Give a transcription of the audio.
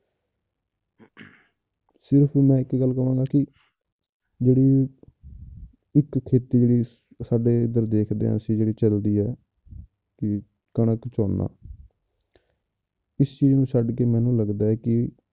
ਸਿਰਫ਼ ਮੈਂ ਇੱਕ ਗੱਲ ਕਹਾਂਗਾ ਕਿ ਜਿਹੜੀ ਇੱਕ ਖੇਤੀ ਜਿਹੜੀ ਸਾਡੇ ਇੱਧਰ ਦੇਖਦੇ ਹਾਂ ਅਸੀਂ ਜਿਹੜੀ ਚੱਲਦੀ ਹੈ ਕਿ ਕਣਕ ਝੋਨਾ ਇਸ ਚੀਜ਼ ਨੂੰ ਛੱਡ ਕੇ ਮੈਨੂੰ ਲੱਗਦਾ ਹੈ ਕਿ